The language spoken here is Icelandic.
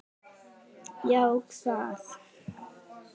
Já, hvað?